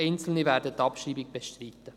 Einzelne werden die Abschreibung bestreiten.